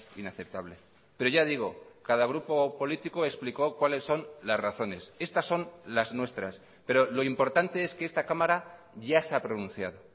inaceptable pero ya digo cada grupo político explicó cuáles son las razones estas son las nuestras pero lo importante es que esta cámara ya se ha pronunciado